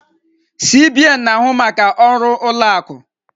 CBN na-ahụ maka ọrụ ụlọ akụ.